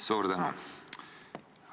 Suur tänu!